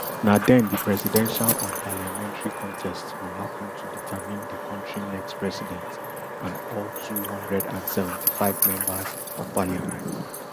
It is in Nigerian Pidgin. na den di presidential and parliamentary contests go happun to determine di kontri next president and all two hundred and seventy-five members of parliament